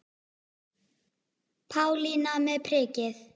Pálína með prikið